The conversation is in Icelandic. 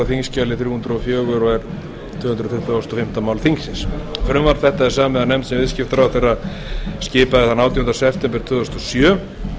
er tvö hundruð tuttugustu og fimmta mál þingsins frumvarp þetta er samið af nefnd sem viðskiptaráðherra skipaði þann átjánda september tvö þúsund og sjö